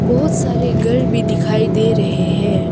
बहुत सारे घर भी दिखाई दे रहे है।